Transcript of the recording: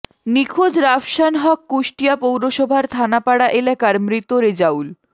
নিখোঁজ রাফসান হক কুষ্টিয়া পৌরসভার থানাপাড়া এলাকার মৃত রেজাউল